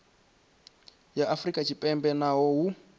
ya afrika tshipembe naho hu